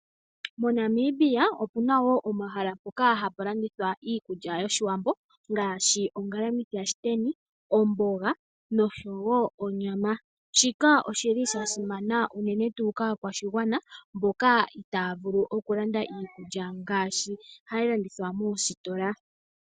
MoNamibia opuna woo omahala mpoka hapu landithwa iikulya yoshiwambo ngaashi ongalamwithi yashiteni, omboga noshowo onyama. Shika oshili sha simana uunene tuu kaakwashigwana mboka itaya vulu okulanda iikulya ngaashi hayi landithwa moositola.